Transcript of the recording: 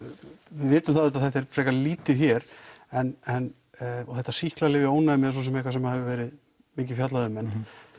við vitum að þetta þetta er frekar lítið hér og þetta sýklalyfja ónæmi er svo sem eitthvað sem hefur verið mikið fjallað um en